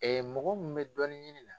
mɔgɔ mun bɛ dɔɔnin ɲini na.